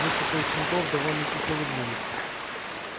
несколько учеников довольно кисло улыбнулись